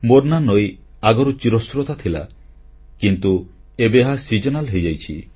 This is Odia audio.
ମୋର୍ନା ନଈ ଆଗରୁ ଚିରସ୍ରୋତା ଥିଲା କିନ୍ତୁ ଏବେ ଏହା ଝର ସିଜନାଲ ହୋଇଯାଇଛି